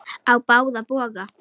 Á báða bóga.